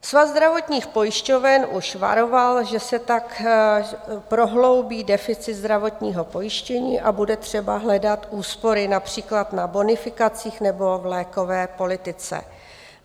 Svaz zdravotních pojišťoven už varoval, že se tak prohloubí deficit zdravotního pojištění a bude třeba hledat úspory například na bonifikacích nebo v lékové politice.